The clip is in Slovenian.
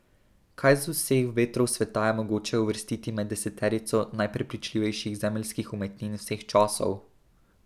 Kaj z vseh vetrov sveta je mogoče uvrstiti med deseterico najprepričljivejših zemeljskih umetnin vseh časov?